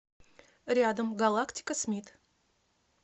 рядом галактика смит